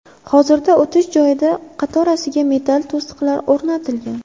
Hozirda o‘tish joyida qatorasiga metall to‘siqlar o‘rnatilgan.